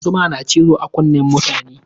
Zuma na cizo a kunnen mutum ne.